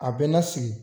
A bɛ lasigi